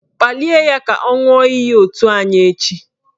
Kpalie ya ka ọ ṅụọ iyi otu anyị echi!